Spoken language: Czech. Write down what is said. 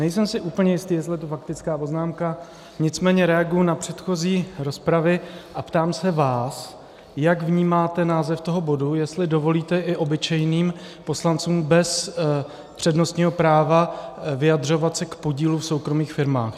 Nejsem si úplně jistý, jestli je to faktická poznámka, nicméně reaguji na předchozí rozpravy a ptám se vás, jak vnímáte název toho bodu, jestli dovolíte i obyčejným poslancům bez přednostního práva vyjadřovat se k podílu v soukromých firmách.